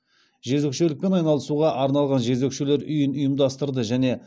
жезөкшелікпен айналысуға арналған жезөкшелер үйін ұйымдастырды